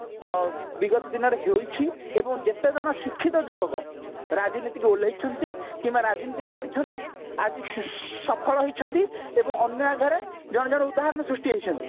NTI ଆଁ ବିଗତ ଦିନରେ ହୋଇଛି ଏବଂ ଯେତେଜଣ ଶିକ୍ଷିତ ଯୁବକ ରାଜନିତୀକୁ ଓଲ୍ଲାଇଛି କିମ୍ବା ରାଜନୀତି କରିଛନ୍ତି ଆଜି ସଫଳ ହେଇଛି ଏବଂ ଜଣେ ଜଣେ ଉଦାହରଣ ସୃଷ୍ଟି ହେଇଛନ୍ତି ତାକୁ